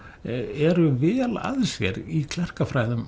eru vel að sér í